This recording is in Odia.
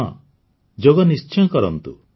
ହଁ ଯୋଗ ନିଶ୍ଚୟ କରନ୍ତୁ